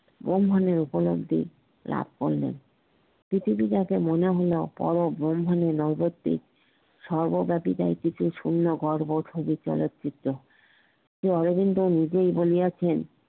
ব্রাহ্মণী উপলব্ধি লাভ হইনি পৃথিবী যাকে মনে মনে সর্বব্যাপী কিছু শুন্য শ্রি অরবিন্দ নিজেই বলিয়াছিলেন